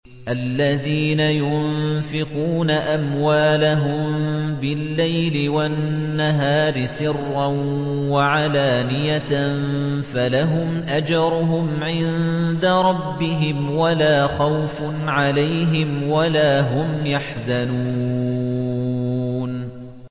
الَّذِينَ يُنفِقُونَ أَمْوَالَهُم بِاللَّيْلِ وَالنَّهَارِ سِرًّا وَعَلَانِيَةً فَلَهُمْ أَجْرُهُمْ عِندَ رَبِّهِمْ وَلَا خَوْفٌ عَلَيْهِمْ وَلَا هُمْ يَحْزَنُونَ